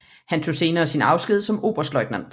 Han tog senere sin afsked som oberstløjtnant